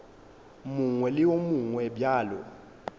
mongwe le wo mongwe bjalo